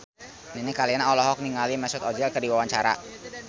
Nini Carlina olohok ningali Mesut Ozil keur diwawancara